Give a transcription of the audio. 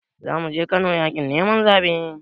Zamuje kano yakin neman zabe.